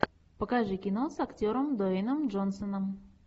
покажи кино с актером дуэйном джонсоном